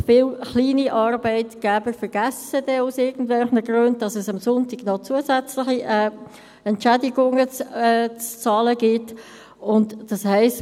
Viele kleine Arbeitgeber vergessen dann aus irgendwelchen Gründen, dass es am Sonntag noch zusätzliche Entschädigungen zu zahlen gibt, und das heisst: